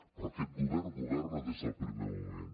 però aquest govern governa des del primer moment